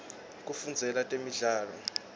kufundzela temidlalo